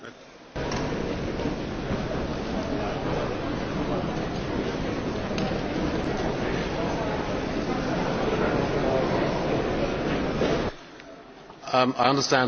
I understand that there has been some confusion about this point, but the President has said that for the sake of good order today and I am pleased to see so many flags in the Chamber